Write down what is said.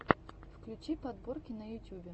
включи подборки на ютубе